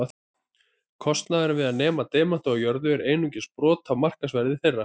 Kostnaður við að nema demanta úr jörðu er einungis brot af markaðsverði þeirra.